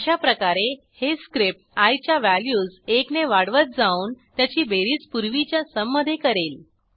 अशाप्रकारे हे स्क्रिप्ट आय च्या व्हॅल्यूज एकने वाढवत जाऊन त्याची बेरीज पूर्वीच्या सुम मधे करेल